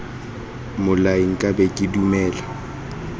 mmolai nka be ke dumela